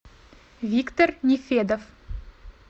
виктор нефедов